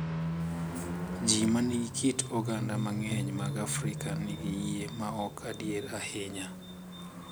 ji ma nigi kit oganda mang’eny mag Afrika nigi yie ma ok adier ahinya.